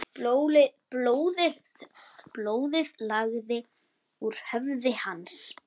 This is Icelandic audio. Blóðið lagaði úr höfði hans.